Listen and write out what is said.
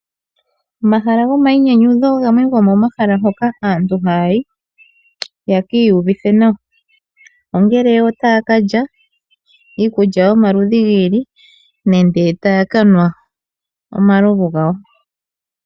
Omahala gomayinyanyudho gamwe gomomahala hoka aantu haya yi ye ki iyuvitha nawa, ongele otaya ka lya iikulya yomaludhi gi ili nenge taya ka nwa omalovu gawo.